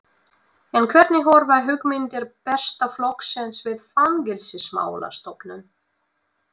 En hvernig horfa hugmyndir Besta flokksins við Fangelsismálastofnun?